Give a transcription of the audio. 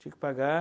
Tinha que pagar.